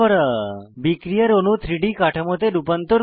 বিক্রিয়ার অণু 3ডি কাঠামোতে রূপান্তর করা